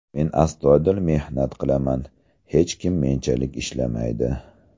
Men astoydil mehnat qilaman, hech kim menchalik ishlamaydi.